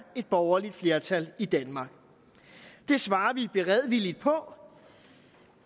et borgerligt flertal i danmark det svarer vi beredvilligt på